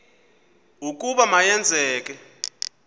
ukuba ma yenzeke